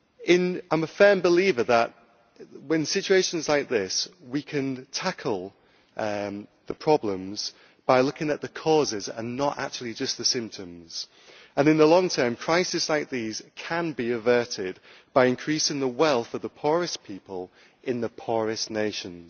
I am a firm believer that, with situations like this, we can tackle the problems by looking at the causes and not actually just the symptoms and, in the long term, crises like these can be averted by increasing the wealth of the poorest people in the poorest nations.